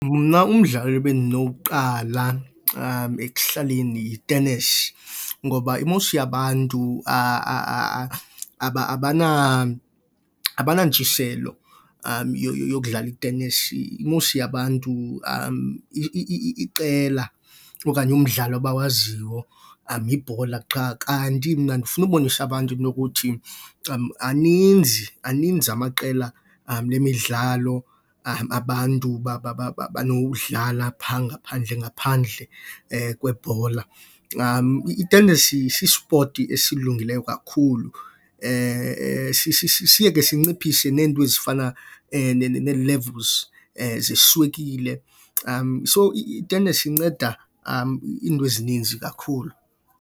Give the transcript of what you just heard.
Mna umdlalo ebendinowuqala ekuhlaleni yi-tennis, ngoba i-most yabantu abanantshiselo yokudlala i-tennis. I-most yabantu iqela okanye umdlalo abawaziyo yibhola qha. Kanti mna ndifuna ubonisa abantu into yokuthi aninzi, aninzi amaqela lemidlalo abantu banowudlala phaa ngaphandle, ngaphandle kwebhola. I-tennis si-sport esilungileyo kakhulu. Siye ke sinciphise neento ezifana ne-levels zeswekile . So, i-tennis inceda iinto ezininzi kakhulu.